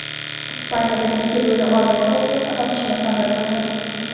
Ispaniyada ikki lo‘li oilasi o‘rtasida otishma sodir bo‘ldi.